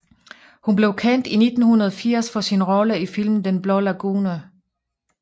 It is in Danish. Hun blev kendt i 1980 for sin rolle i filmen Den blå lagune